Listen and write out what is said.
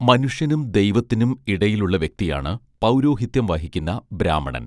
മനുഷ്യനും ദൈവത്തിനും ഇടയിലുള്ള വ്യക്തിയാണ് പൗരോഹിത്യം വഹിക്കുന്ന ബ്രാഹ്മണൻ